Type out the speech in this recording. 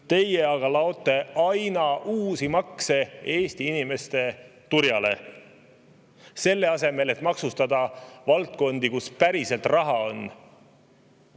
Teie aga laote aina uusi makse Eesti inimeste turjale, selle asemel et maksustada valdkondi, kus päriselt raha on.